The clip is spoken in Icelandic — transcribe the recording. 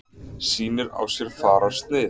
Sýnir á sér fararsnið.